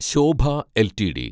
Shobha LTD